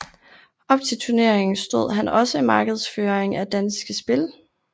Op til turneringen stod han også markedsføringen af Danske Spil